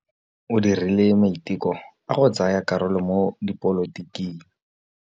O dirile maitekô a go tsaya karolo mo dipolotiking.